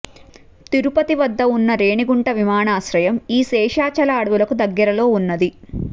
తిరుపతి వద్ద ఉన్న రేణిగుంట విమానాశ్రయం ఈ శేషాచల అడవులకు దగ్గరలో ఉన్నది